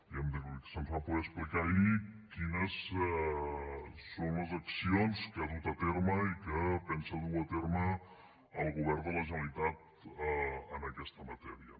i hem de dir que se’ns va poder explicar ahir quines són les accions que ha dut a terme i que pensa dur a terme el govern de la generalitat en aquesta matèria